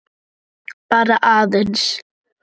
Bara aðeins.